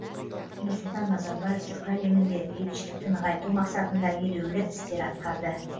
нұрсұлтан назарбаев түркі әлемінде бейбітшілікті нығайту мақсатында елеулі істер атқарды